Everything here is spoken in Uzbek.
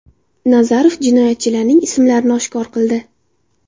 Nazarov jinoyatchilarning ismlarini oshkor qildi.